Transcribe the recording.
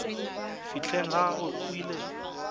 fihleng ga gagwe o ile